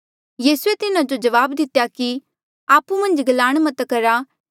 यीसूए तिन्हा जो जवाब दितेया कि आपु मन्झ नी गलांण मत करहा